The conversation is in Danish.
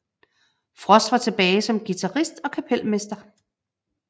Frost var tilbage som guitarist og kapelmester